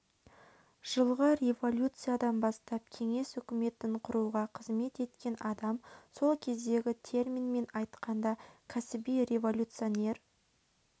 жылғы революциядан бастап кеңес үкіметін құруға қызмет еткен адам сол кездегі терминмен айтқанда кәсіби революционер